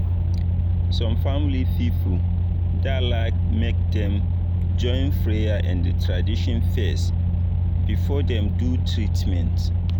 some family people da like make dem join prayer and tradition fes before dem do treatment